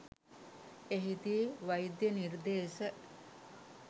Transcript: එහිදී වෛද්‍ය නිර්දේශ